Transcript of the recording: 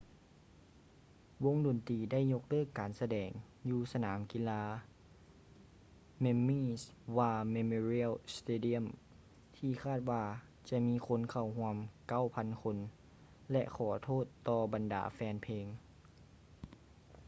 ວົງດົນຕີໄດ້ຍົກເລີກການສະແດງຢູ່ສະໜາມກິລາ memi's war memorial stadium ທີ່ຄາດວ່າຈະມີຄົນເຂົ້າຮ່ວມ 9,000 ຄົນ ແລະ ຂໍໂທດຕໍ່ບັນດາແຟນເພງ